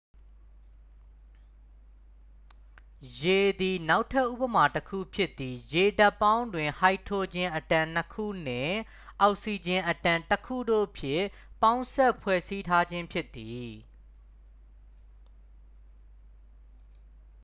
ရေသည် နောက်ထပ်ဉပမာ တစ်ခု ဖြစ်သည် ရေဒြပ်ပေါင်းတွင် ဟိုက်ဒရိုဂျင် အက်တမ် 2 ခုနှင့် အောက်ဆီဂျင်အက်တမ် 1ခု တို့ဖြင့် ပေါင်းစပ်ဖွဲ့စည်းထားခြင်းဖြစ်သည်